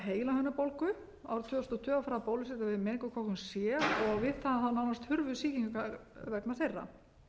við meningókokkum c og við það nánast hurfu sýkingar vegna þeirra